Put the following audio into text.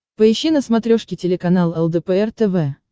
поищи на смотрешке телеканал лдпр тв